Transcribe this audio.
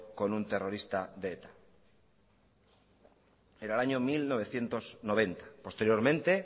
con un terrorista de eta era el año mil novecientos noventa posteriormente